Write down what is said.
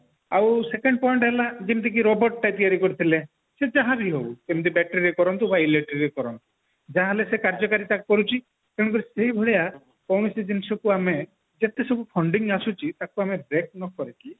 ଆଉ second point ହେଲା ଯେମତିକି robot ଟା ତିଆରି କରିଥିଲେ ସେ ଯାହାବି ହଉ ଯେମତି battery ରେ କରନ୍ତୁ ବା electric ରେ କରନ୍ତୁ ଯାହା ହେଲେ ସେ କାର୍ଯ୍ୟକାରି କରୁଛି ତେଣୁକରି ସେଇ ଭଳିଆ କୌଣସି ଜିନିଷକୁ ଆମେ ଯେତେ ସବୁ funding ଆସୁଛି ଟାକୁ ଆମେ break ନ କରିକି